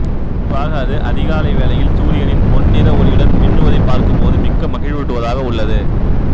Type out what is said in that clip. குறிப்பாக அது அதிகாலை வேளையில் சூரியனின் பொன்னிற ஒளியுடன் மின்னுவதைப் பார்க்கும்போது மிக்க மகிழ்வூட்டுவதாக உள்ளது